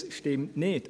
dies stimmt nicht.